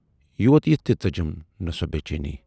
یوت یِتھ تہِ ژٔجِم نہٕ سۅ بے چینی۔